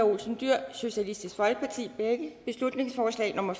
olsen dyhr beslutningsforslag nummer